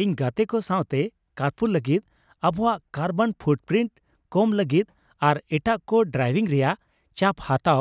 ᱤᱧ ᱜᱟᱛᱮ ᱠᱚ ᱥᱟᱶᱛᱮ ᱠᱟᱨᱯᱩᱞ ᱞᱟᱹᱜᱤᱫ, ᱟᱵᱚᱣᱟᱜ ᱠᱟᱨᱵᱚᱱ ᱯᱷᱩᱴᱯᱨᱤᱱᱴ ᱠᱚᱢ ᱞᱟᱹᱜᱤᱫ ᱟᱨ ᱮᱴᱟᱜ ᱠᱚ ᱰᱨᱟᱭᱵᱷᱤᱝ ᱨᱮᱭᱟᱜ ᱪᱟᱯ ᱦᱟᱛᱟᱣ